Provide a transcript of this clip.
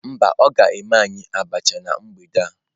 Mba, o ga eme anyi abacha na mgbede a